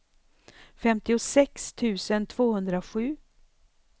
femtiosex tusen tvåhundrasju